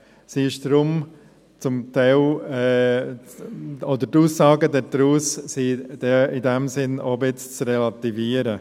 Sie ist deshalb zum Teil ... oder die Aussagen daraus sind in diesem Sinn etwas zu relativieren.